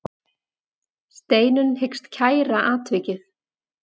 Steinunn hyggst kæra atvikið.